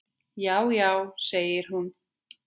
Já, já segir hún.